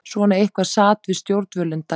Svona eitthvert sat-við-stjórnvölinn-dæmi.